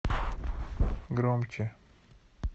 громче